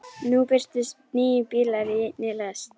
Nú birtust níu bílar í einni lest.